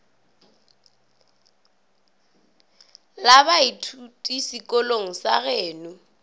la baithuti sekolong sa geno